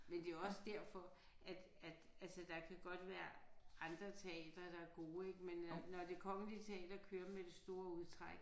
Men det er også derfor at at altså der kan godt være andre teatre der er gode ik men når Det Kongelige Teater kører med det store udtræk